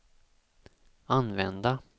använda